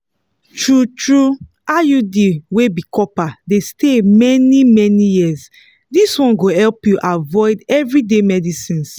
true-true iud wey be copper dey stay many-many years this one go help you avoid everyday medicines.